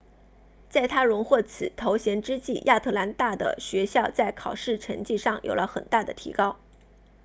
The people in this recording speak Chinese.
在她荣获此头衔之际亚特兰大的学校在考试成绩上有了很大的提高